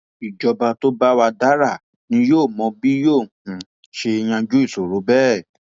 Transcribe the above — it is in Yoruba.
ìjọba tó bá wàá dára ni yóò mọ bí yóò um ṣe yanjú ìṣòro bẹẹ um